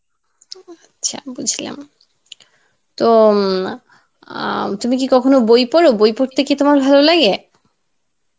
আচ্ছা বুঝলাম তো ইম আহ তুমি কি কখনো বই পড়, বই পড়তে কি তোমার ভালো লাগে?